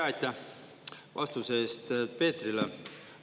Ja aitäh vastuse eest Peetrile!